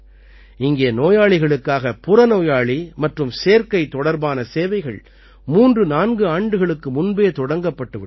இங்கே நோயாளிகளுக்காக புறநோயாளி மற்றும் சேர்க்கை தொடர்பான சேவைகள் 34 ஆண்டுகளுக்கு முன்பே தொடங்கப்பட்டுவிட்டன